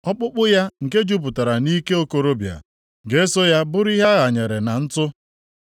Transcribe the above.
Ọkpụkpụ ya nke jupụtara nʼike okorobịa ga-eso ya bụrụ ihe a ghanyere na ntụ.